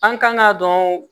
An kan ka dɔn